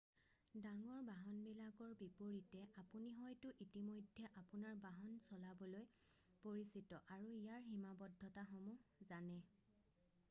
ডাঙৰ বাহন বিলাকৰ বিপৰীতে আপুনি হয়তো ইতিমধ্যে আপোনাৰ বাহন চলাবলৈ পৰিচিত আৰু ইয়াৰ সীমাবদ্ধতাসমুহ জানে